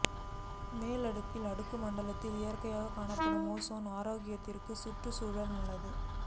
மேல் அடுக்கில் அடுக்கு மண்டலத்தில் இயற்கையாக காணப்படும் ஓசோன் ஆரோக்கியத்திற்கும் சுற்றுச் சூழலுக்கும் நல்லது